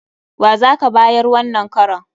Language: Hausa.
Wa za ka bayar wannan karon?